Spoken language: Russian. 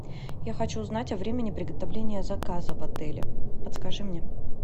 я хочу узнать о времени приготовления заказа в отеле подскажи мне